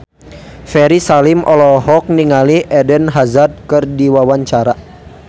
Ferry Salim olohok ningali Eden Hazard keur diwawancara